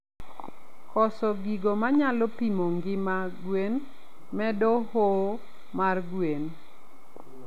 Koso gigo manyalo pimo ngima gwen medo hoo mar gwen